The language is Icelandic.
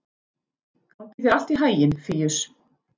Gangi þér allt í haginn, Fíus.